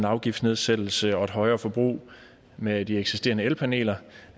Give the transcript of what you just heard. afgiftsnedsættelse og et højere forbrug med de eksisterende elpaneler